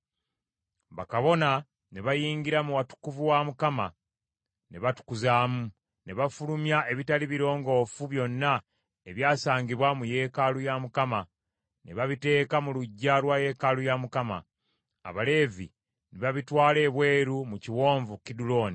Bakabona ne bayingira mu watukuvu wa Mukama ne batukuzaamu. Ne bafulumya ebitaali birongoofu byonna ebyasangibwa mu yeekaalu ya Mukama ne babiteeka mu luggya lwa yeekaalu ya Mukama , Abaleevi ne babitwala ebweru mu Kiwonvu Kiduloni.